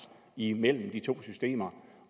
imellem de to systemer